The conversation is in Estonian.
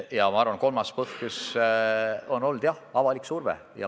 Ja ma arvan, et kolmas põhjus on olnud avalik surve.